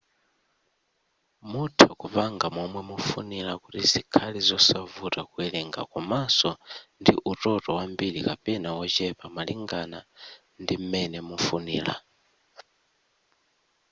mutha kupanga momwe mufunira kuti zikhale zosavuta kuwerenga komaso ndi utoto wambiri kapena wochepa malingana ndim'mene mufunira